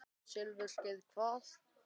Silfurskeiðin hvað?